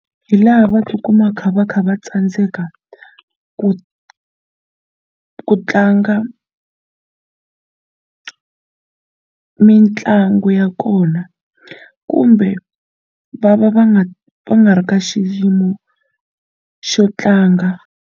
Hi laha va tikuma va kha va kha va tsandzeka ku ku tlanga mitlangu ya kona kumbe va va va nga va nga ri ka xiyimo xo tlanga.